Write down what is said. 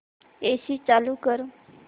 AC चालू कर